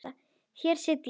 Hér sit ég.